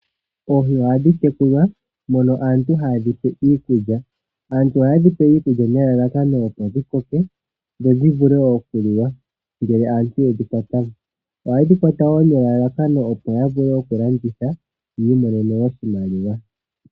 Oohi ohadhi tekulwa mono aantu haye dhipe iikulya nelalakano opo dhikoke dhi vule okuliwa ngele aantu yedhikwata mo. Ohaye dhikwata nelalakano lyokulanditha yiimonene oshimaliwa.